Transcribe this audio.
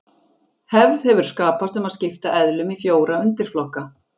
Hefð hefur skapast um að skipta eðlum í fjóra undirflokka.